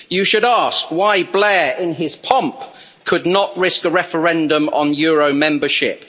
You should ask why Blair, in his pomp, could not risk a referendum on euro membership.